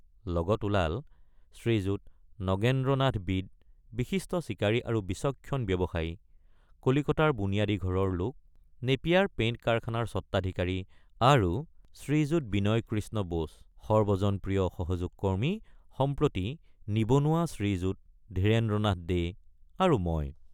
লগত ওলাল শ্ৰীযুত নগেন্দ্ৰনাথ বিড বিশিষ্ট চিকাৰী আৰু বিচক্ষণ ব্যৱসায়ী কলিকতাৰ বুনিয়াদী ঘৰৰ লোক নেপিয়াৰ পেইণ্ট কাৰখানাৰ স্বত্বাধিকাৰী আৰু শ্ৰীযুত বিনয়কৃষ্ণ বোস সৰ্বজনপ্ৰিয় অসহযোগকৰ্মী সম্প্ৰতি নিবনুৱা শ্ৰীযুত ধীৰেন্দ্ৰনাথ দে আৰু মই।